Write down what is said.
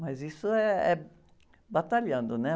Mas isso eh, é batalhando, né?